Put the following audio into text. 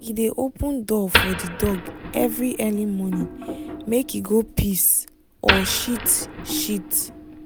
he dey open door for the dog every early morning make e go piss or shit. shit.